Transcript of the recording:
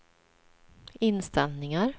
inställningar